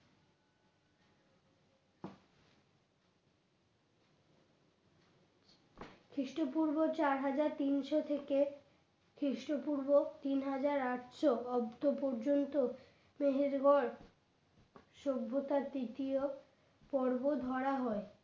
খ্রিস্টপূর্ব চার হাজার তিনশো থেকে খ্রিস্টপূর্ব তিন হাজার আটশো অব্দ পর্যন্ত মেহেরগড় সভ্যতার তৃতীয় পর্ব ধরা হয়।